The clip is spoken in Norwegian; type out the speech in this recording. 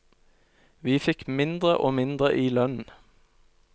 Vi fikk mindre og mindre i lønn.